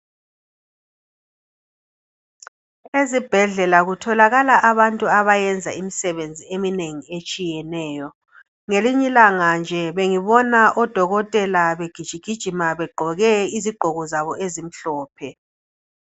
Ezibhedlela kutholakala abantu abayenza imisebenzi eminengi etshiyeneyo. Ngelinyilanga nje bengibona odokotela begijigijima begqoke izigqoko zabo ezimhlophe.